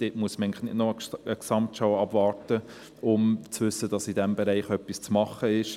Da muss man nicht noch eine Gesamtschau abwarten, um zu wissen, dass in diesem Bereich etwas zu tun ist.